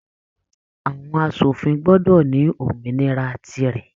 Àwọn aṣòfin gbọdọ ní òmìnira tí rẹ.